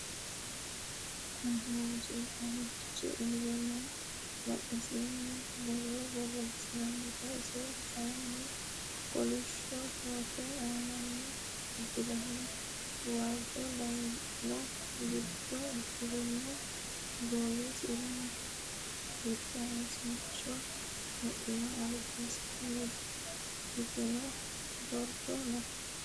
kuuni manchu caalichi uure noo. badheesinni borro borresantino. isi kayinni kolisho koote aanani uddirino. waajo layinon giddoni uddirino. gowisira utasincho wodhino. albasini hiigeno borro no.